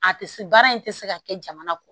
A tɛ se baara in tɛ se ka kɛ jamana kɔ